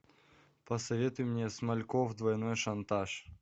посоветуй мне смальков двойной шантаж